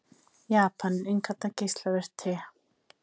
Japanar innkalla geislavirkt te